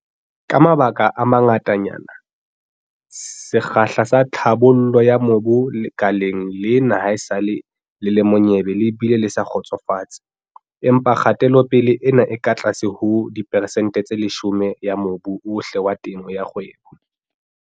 Ka mabaka a mangatanyana, sekgahla sa tlhabollo ya mobu lekaleng lena haesale le le monyebe le bile le sa kgotsofatse. Empa kgatelopele ena e ka tlase ho diperesente tse 10 ya mobu ohle wa temo ya kgwebo.